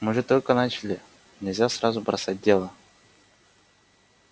мы же только начали нельзя сразу бросать дело